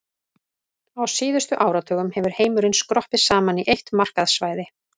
Á síðustu áratugum hefur heimurinn skroppið saman í eitt markaðssvæði.